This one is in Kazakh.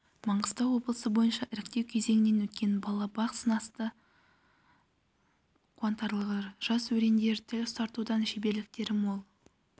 маңғыстау облысы бойынша іріктеу кезеңінен өткен бала бақ сынасты қуантарлығы жас өрендер тіл ұстартудан шеберліктері мол